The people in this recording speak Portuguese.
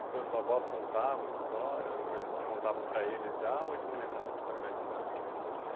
E seus avós contavam histórias, alguma coisa que contavam para eles já ou eles não lembravam, não sabiam mais de nada?